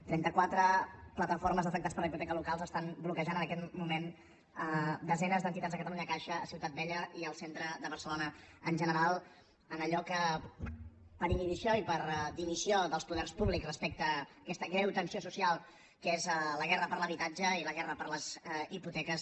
trenta quatre plataformes d’afectats per la hipoteca locals estan bloquejant en aquest moment desenes d’entitats de catalunya caixa a ciutat vella i al centre de barcelona en general en allò que per inhibició i per dimissió dels poders públics respecte a aquesta greu tensió social que és la guerra per l’habitatge i la guerra per les hipoteques